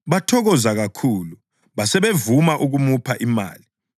Bathokoza kakhulu, basebevuma ukumupha imali.